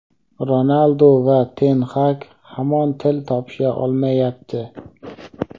Ronaldu va Ten Xag hamon til topisha olmayapti.